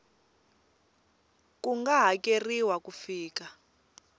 ku nga hakeriwa ku fika